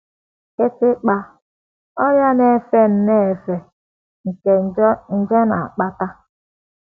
Kịtịkpa: Ọrịa na - efe nnọọ efe nke nje na - akpata.